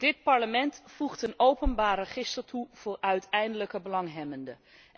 Dit Parlement voegt een openbaar register toe voor uiteindelijke belanghebbenden.